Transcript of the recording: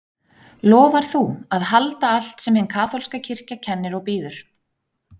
Lofar þú að halda allt sem hin kaþólska kirkja kennir og býður?